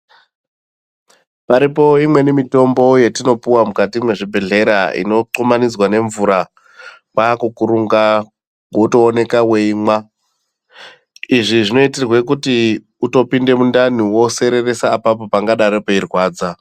Paripo imweni mitombo yatinopiwa mukati mezvibhedhlera inothumanidzwa ngemvura kwakukurunga wotooneka weimwa izvi zvinoitirwa kuti utopinde mundani wosereresa apapo pangadaro peiirwadza.